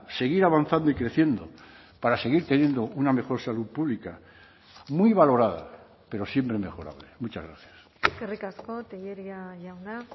seguir avanzando y creciendo para seguir teniendo una mejor salud pública muy valorada pero siempre mejorable muchas gracias eskerrik asko tellería jauna